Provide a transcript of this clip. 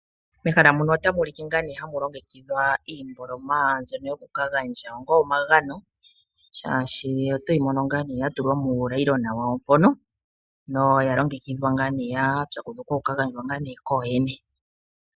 Mehala muno otamu ulike hamu longekidhwa iimboloma yoku ka gandja onga omagano shaashi oto yi mono sho ya tulwa muunayilona wayo noya longekidhwa ya pyakudhukwa oku ka gandjwa kooyene.